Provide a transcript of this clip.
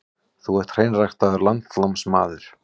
Þú ert hreinræktaður landnámsmaður.